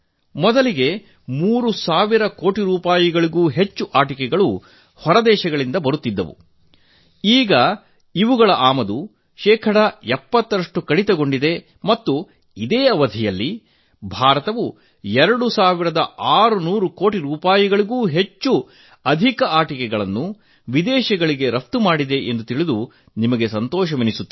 ಮೊದಲಿಗೆ 3 ಸಾವಿರ ಕೋಟಿ ರೂಪಾಯಿ ಮೌಲ್ಯಕ್ಕೂ ಅಧಿಕ ಆಟಿಕೆಗಳು ಹೊರದೇಶಗಳಿಂದ ಬರುತ್ತಿದ್ದವು ಈಗ ಇವುಗಳ ಆಮದು ಶೇಕಡಾ 70 ರಷ್ಟು ಕಡಿತಗೊಂಡಿದೆ ಮತ್ತು ಇದೇ ಅವಧಿಯಲ್ಲಿ ಭಾರತವು ಎರಡು ಸಾವಿರದ ಆರುನೂರು ಕೋಟಿ ರೂಪಾಯಿಗೂ ಅಧಿಕ ಮೌಲ್ಯದ ಆಟಿಕೆಗಳನ್ನು ವಿದೇಶಗಳಿಗೆ ರಫ್ತು ಮಾಡಿದೆ ಎಂಬುದನ್ನು ತಿಳಿಯಲು ಸಂತೋಷವಾಗುತ್ತಿದೆ